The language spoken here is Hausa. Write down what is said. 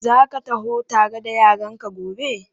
Za ka taho tare da yaranka gobe?